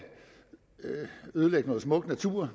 ødelægge noget smuk natur